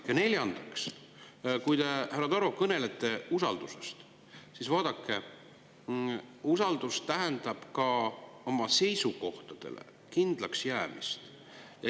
Ja, te, härra Taro, kõnelete usaldusest, aga vaadake, usaldus tähendab ka oma seisukohtadele kindlaks jäämist.